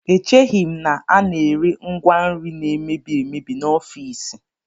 Echeghị m na a na-ere ngwa nri na-emebi emebi n'ofiisi